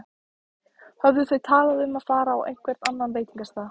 Höfðu þau talað um að fara á einhvern annan veitingastað?